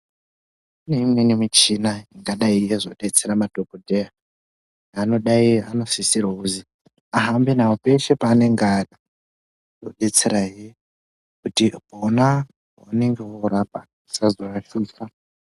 Kune imweni michina ingadai yeizodetsera madhogodheya anodai anosisirwa kuzi ahambe nawo peshe paanenga ari. Yodetserahe kuti pona paanonge oorapa, asazoatsinza.